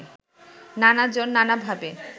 নানাজন নানাভাবে